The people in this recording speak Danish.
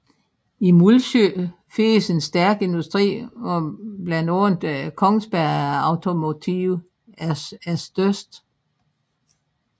I Mullsjö findes en stærk industri hvor blandt andet Kongsberg Automotive er størst